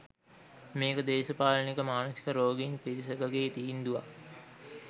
මේක දේශපාලනික මානසික රෝගීන් පිරිසකගේ තීන්දුවක්.